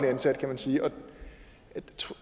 ansatte kan man sige